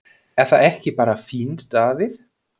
Er það ekki bara fínt Davíð?